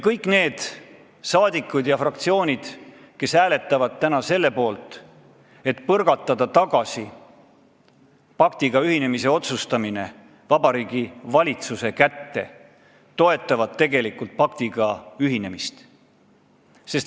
Kõik need saadikud ja fraktsioonid, kes hääletavad täna selle poolt, et paktiga ühinemise otsustamine tagasi Vabariigi Valitsuse kätte põrgatada, tegelikult toetavad paktiga ühinemist.